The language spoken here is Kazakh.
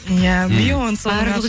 иә бейонсе